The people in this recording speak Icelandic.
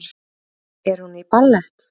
Er hún í ballett?